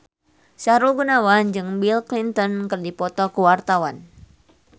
Sahrul Gunawan jeung Bill Clinton keur dipoto ku wartawan